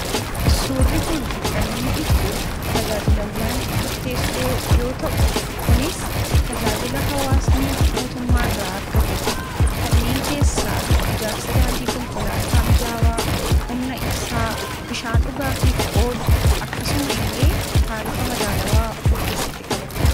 Suurri kun kan inni ibsu tajaajilawwan murteessoo yoo ta’u, kunis tajaanila hawaasni mootummaa irraa argatudha. Kanneen keessaa ijaarsa daandii konkolaataa mijaawaa, humna ibsaa, bishaan dhugaatiif oolu akkasuma illee taarifa madaalawaa of keessatti qabata.